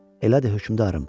Elədir, hökmdarım.